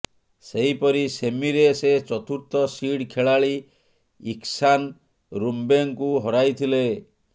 ସେହିପରି ସେମିରେ ସେ ଚତୁର୍ଥ ସିଡ ଖେଳାଳି ଇଖଶାନ ରୁମ୍ବେଙ୍କୁ ହରାଇଥିଲେ